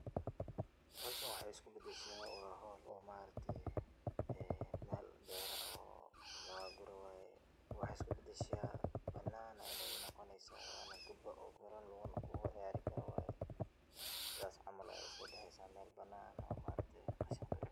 Howshan waxay isku badashaa waa howl oo ma aragte Mel beera oo laga gurayo waye, waxay iska badasha banan inay noqoneysa waba guba oo garon lugu noqdo lugu ciyaari karo waye, sas camal ayay uso bexeysa Mel banan eh oo ma aragte qashin qabin